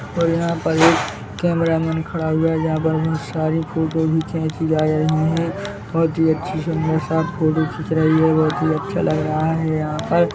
और यहाँ पर एक कैमरा मैन खड़ा हुआ है जहाँ पर बहुत सारी फोटो भी खींची जा रही हैं बहुत ही अच्छे से यहाँ सब फोटो खींच रही हैं बहुत ही अच्छा लगा रहा है यहाँ पर --